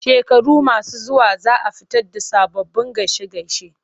Shekaru masu zuwa za a fito da sababbin gaishe-gaishe.